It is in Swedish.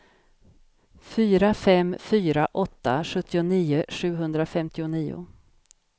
fyra fem fyra åtta sjuttionio sjuhundrafemtionio